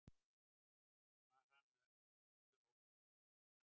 Var hann með öllu óbundinn.